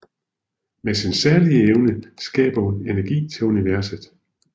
Med sin særlige evne skaber hun energi til universet